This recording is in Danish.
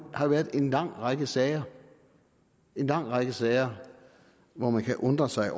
har været en lang række sager en lang række sager hvor man kan undre sig